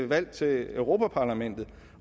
valg til europa parlamentet